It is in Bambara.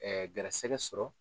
Ɛɛ garisɛgɛ sɔrɔ